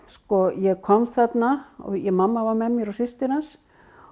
ég kom þarna mamma var með mér og systir hans